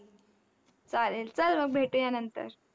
चालेल, चल मग भेटूया नंतर.